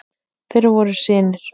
Þeir voru synir